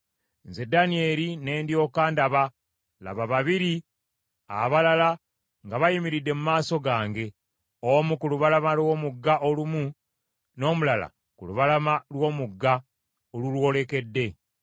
Nze Danyeri ne ndyoka ndaba, laba babiri abalala nga bayimiridde mu maaso gange, omu ku lubalama lw’omugga olumu, n’omulala ku lubalama lw’omugga olulwolekedde.